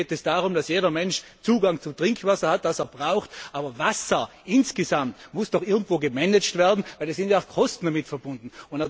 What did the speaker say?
Hier geht es darum, dass jeder Mensch Zugang zu Trinkwasser hat, das er braucht, aber Wasser insgesamt muss doch irgendwie gemanagt werden, denn es sind ja auch Kosten damit verbunden.